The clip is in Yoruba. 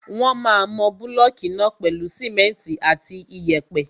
Wọ́n máa mọ búlọ̀kù náà pèlú simẹ́ntì àti iyẹ̀pẹ̀.